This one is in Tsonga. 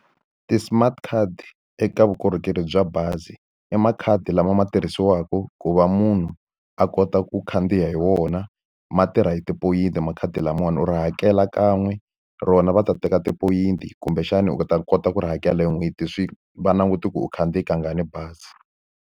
Ti-smart card eka vukorhokeri bya bazi i makhadi lama ma tirhisiwaka ku va munhu a kota ku khandziya hi wona, ma tirha hi tipoyinti makhadi lamawani. U ri hakela kan'we rona va ta teka tipoyinti kumbexana u ta kota ku ri hakela hi n'hweti. Swi va languta ku u khandziye kangani bazi.